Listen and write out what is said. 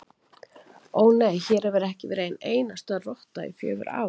Ó, nei, hér hefur ekki verið ein einasta rotta í fjögur ár